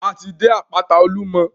A ti dé àpáta Olúmọ.